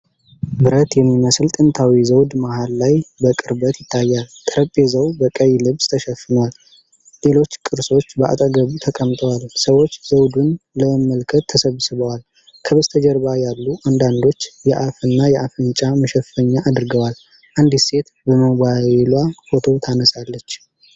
ብረት የሚመስል ጥንታዊ ዘውድ መሃል ላይ በቅርበት ይታያል። ጠረጴዛው በቀይ ልብስ ተሸፍኗል፤ ሌሎች ቅርሶች በአጠገቡ ተቀምጠዋል። ሰዎች ዘውዱን ለመመልከት ተሰብስበዋል፤ ከበስተጀርባ ያሉ አንዳንዶች የአፍና የአፍንጫ መሸፈኛ አድርገዋል። አንዲት ሴት በሞባይሏ ፎቶ ታነሳለች።